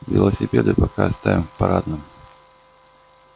велосипеды пока оставим в парадном